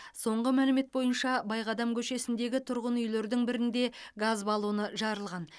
соңғы мәлімет бойынша байқадам көшесіндегі тұрғын үйлердің бірінде газ баллоны жарылған